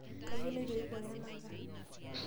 Kayieu naitopore enanka.